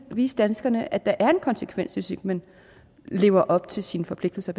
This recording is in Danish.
vise danskerne at der er en konsekvens hvis ikke man lever op til sine forpligtelser